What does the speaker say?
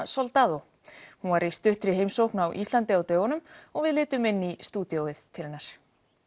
Hollywoodmyndina Soldado hún var í stuttri heimsókn á Íslandi á dögunum og við litum inn í stúdíó til hennar